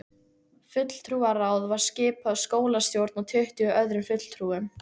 Fulltrúaráð var skipað skólastjórn og tuttugu öðrum fulltrúum.